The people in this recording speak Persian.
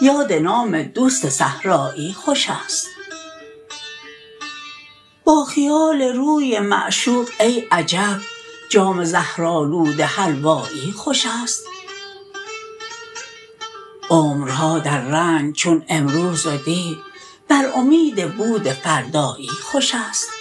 یاد نام دوست صحرایی خوشست با خیال روی معشوق ای عجب جام زهرآلود حلوایی خوشست عمرها در رنج چون امروز و دی بر امید بود فردایی خوشست